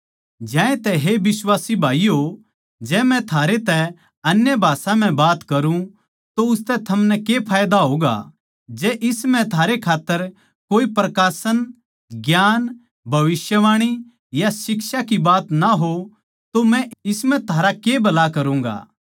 ज्यांतै हे बिश्वासी भाईयो जै मै थारै तै अन्य भाषा म्ह बात करूँ तो उसतै थमनै के फायदा होगा जै इस म्ह थारे खात्तर कोए प्रकाशन ज्ञान भविष्यवाणी या शिक्षा की बात ना हो तो मै इस म्ह थारा के भला करूँगा